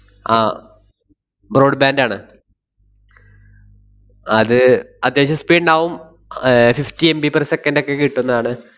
ആഹ് broad band ആണ് അത് അത്യാവശ്യം speed ഇണ്ടാവും ഏർ fiftyMBper second എക്കെ കിട്ടുന്നതാണ്.